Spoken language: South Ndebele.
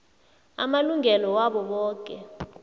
amalungelo wabo boke